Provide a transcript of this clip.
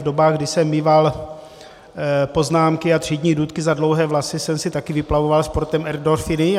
V dobách, kdy jsem míval poznámky a třídní důtky za dlouhé vlasy, jsem si taky vyplavoval sportem endorfiny.